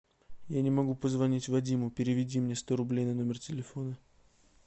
я не могу позвонить вадиму переведи мне сто рублей на номер телефона